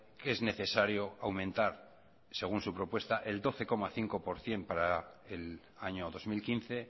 que es necesario aumentar según su propuesta el doce coma cinco por ciento para el año dos mil quince